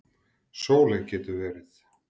Sóley getur verið